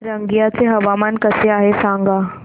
रंगिया चे हवामान कसे आहे सांगा